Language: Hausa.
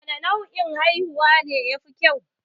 Wane nau'in haihuwa ne ya fi kyau?